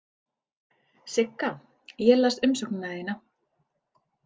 Sigga, ég las umsóknina þína.